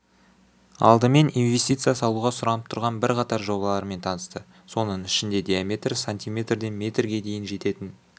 алдымен инвестиция салуға сұранып тұрған бірқатар жобалармен танысты соның ішінде диаметрі см ден метрге дейін жететін